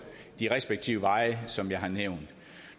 de respektive veje som jeg har nævnt